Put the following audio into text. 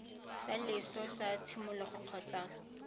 sa loso sa tshimologo kgotsa